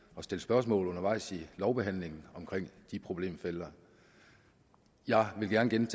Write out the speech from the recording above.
at stille spørgsmål undervejs i lovbehandlingen om de problemfelter jeg vil gerne